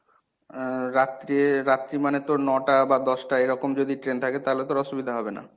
আহ রাত্রে রাত্রি মানে তোর নটা বা দশটা এরকম যদি train থাকে তাহলে তোর অসুবিধা হবে না?